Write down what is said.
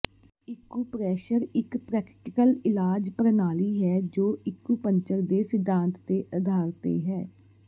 acupressure ਇਕ practical ਇਲਾਜ ਪ੍ਰਣਾਲੀ ਹੈ ਜੋ ਇਕੁੂਪੰਕਚਰ ਦੇ ਸਿਧਾਂਤ ਦੇ ਅਧਾਰ ਤੇ ਹੈ